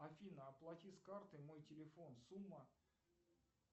афина оплати с карты мой телефон сумма